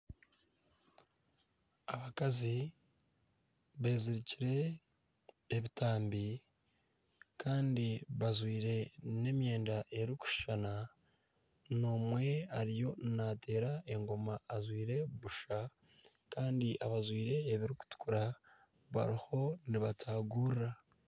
Abakazi bezirikire ebitambi Kandi bajwaire n'emyenda erikushushana omwe ariyo nateera engoma ajwaire busha Kandi abajwaire ebirikutukura bariho nibatagurira .